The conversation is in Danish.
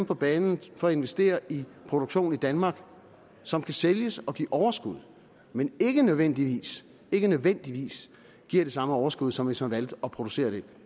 på banen for at investere i produktion i danmark som kan sælges og give overskud men ikke nødvendigvis ikke nødvendigvis giver det samme overskud som hvis man valgte at producere det